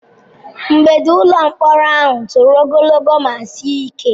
Mgbidi ụlọ mkpọrọ ahụ toro ogologo ma sie ike.